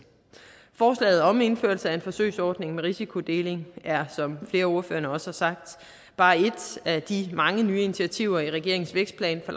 forslaget om indførelse af en forsøgsordning med risikodeling er som flere af ordførerne også har sagt bare et af de mange nye initiativer i regeringens vækstplan for